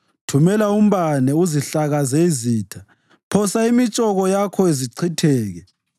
Thumela umbane uzihlakaze izitha; phosa imitshoko yakho zichitheke.